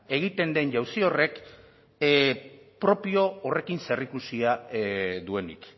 egiten den jauzi horrek propio horrekin zerikusia duenik